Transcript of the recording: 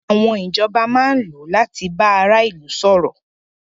Àwọn ìjọba máa ń lò láti bá ara ilu sọ̀rọ̀.